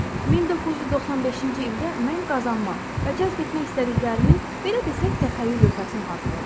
1995-ci ildə mən qazanmaq və cəzb etmək istədiklərimin, belə desək, təxəyyül lövhəsini hazırladım.